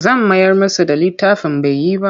Zan mayar musu da littafin bai yi ba.